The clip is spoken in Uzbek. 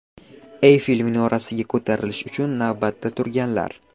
Eyfel minorasiga ko‘tarilish uchun navbatda turganlar.